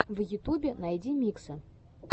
в ютубе найди миксы